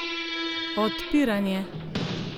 Odpiranje?